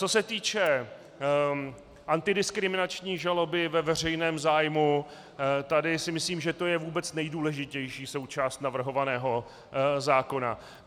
Co se týče antidiskriminační žaloby ve veřejném zájmu, tady si myslím, že to je vůbec nejdůležitější součást navrhovaného zákona.